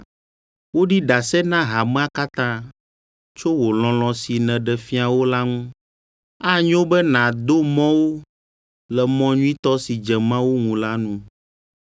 Woɖi ɖase na hamea katã tso wò lɔlɔ̃ si nèɖe fia wo la ŋu. Anyo be nàdo mɔ wo le mɔ nyuitɔ si dze Mawu ŋu la nu,